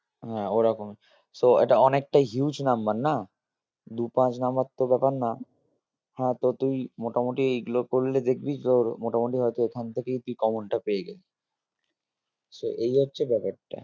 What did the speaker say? হ্যাঁ ওরকমই so এটা অনেকটাই huge number না দু পাঁচ number তো ব্যাপার না হ্যাঁ তো তুই মোটামোটি এগুলো করলে দেখবি তোর মোটামোটি হয়তো এখান থেকেই তুই common টা পেয়ে যাবি so এই হচ্ছে ব্যাপারটা